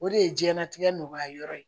O de ye diɲɛlatigɛ nɔgɔya yɔrɔ ye